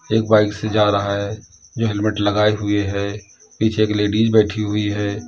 एक बाइक से जा रहा है जो हेलमेट लगाए हुए है पीछे एक लेडिज बैठी हुई है।